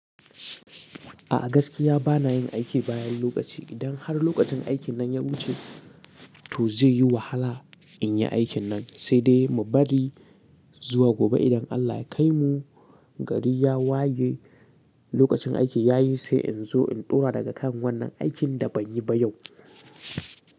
A'a gaskiya bana yin aiki bayan lokaci. Idan har lokacin aikin nan ya wuce to zai yi wahala in yi aikin nan, sai dai mu bari zuwa gobe idan Allah ya kai mu gari ya waye lokacin aiki ya yi sai in zo in ɗora daga kan wannan aikin da ban yi ba yau.